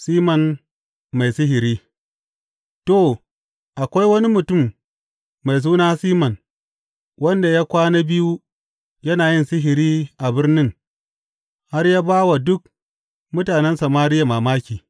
Siman mai sihiri To, akwai wani mutum mai suna Siman wanda ya kwana biyu yana yin sihiri a birnin har ya ba wa duk mutanen Samariya mamaki.